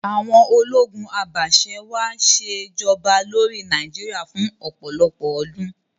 Àwon ológun abàse-wàá sè'joba lórí Naíjiria fún òpòlọpò ọdún